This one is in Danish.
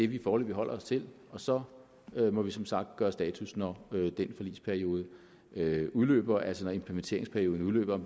vi foreløbig holder os til og så må vi som sagt gøre status når den forligsperiode udløber altså når implementeringsperioden udløber